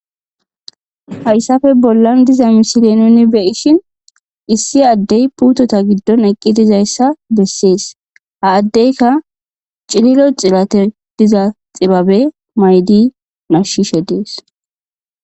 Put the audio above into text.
Hayssape bollan diza misile nuni beyishin issi addey puutota giddon eqqi dizayssa bessees ha addeyka cililo xilate diza xibabe maydi nashshishe dees.